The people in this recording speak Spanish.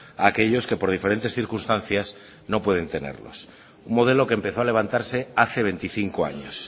a aquellos que por diferentes circunstancias no pueden tenerlos un modelo que empezó a levantarse hace veinticinco años